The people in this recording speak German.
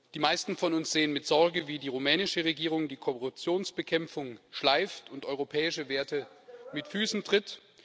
Die meisten von uns sehen mit Sorge, wie die rumänische Regierung die Korruptionsbekämpfung schleifen lässt und europäische Werte mit Füßen tritt.